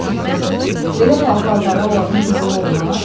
Ay it qızı, belə pal-paltarı olanın qızılı olmaz?